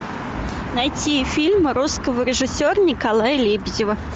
найти фильм русского режиссера николая лебедева